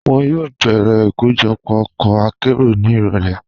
Wọn yóò bẹ̀rẹ̀ ikojọpọ̀ ọkọ àkéró ni irọ̀lẹ̀.